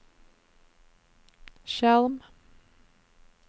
skjerm